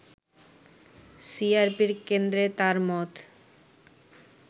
সিআরপির কেন্দ্রে তার মত